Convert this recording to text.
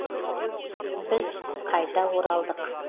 біз қайта оралдық